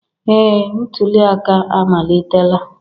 Ee, ntuli aka amalitela